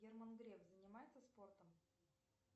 герман греф занимается спортом